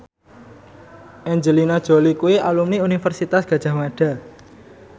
Angelina Jolie kuwi alumni Universitas Gadjah Mada